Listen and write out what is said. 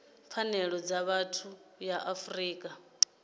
pfanelo dza vhathu ya afrika